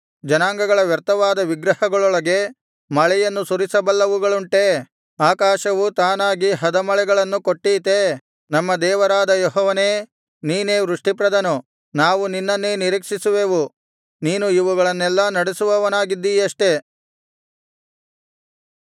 ಜನಾಂಗಗಳ ವ್ಯರ್ಥವಾದ ವಿಗ್ರಹಗಳೊಳಗೆ ಮಳೆಯನ್ನು ಸುರಿಸಬಲ್ಲವುಗಳುಂಟೇ ಆಕಾಶವು ತಾನಾಗಿ ಹದಮಳೆಗಳನ್ನು ಕೊಟ್ಟೀತೇ ನಮ್ಮ ದೇವರಾದ ಯೆಹೋವನೇ ನೀನೇ ವೃಷ್ಟಿಪ್ರದನು ನಾವು ನಿನ್ನನ್ನೇ ನಿರೀಕ್ಷಿಸುವೆವು ನೀನು ಇವುಗಳನ್ನೆಲ್ಲಾ ನಡೆಸುವವನಾಗಿದ್ದೀಯಷ್ಟೆ